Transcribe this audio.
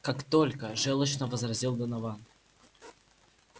как только жёлчно возразил донован